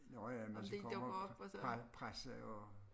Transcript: Nåh ja hvis vi kommer og presser og